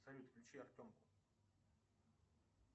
салют включи артемку